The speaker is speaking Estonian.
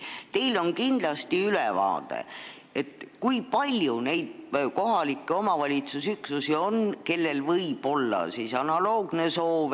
Teil on kindlasti ülevaade, kui palju neid kohaliku omavalitsuse üksusi on, kellel on analoogne soov.